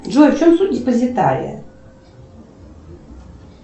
джой в чем суть депозитария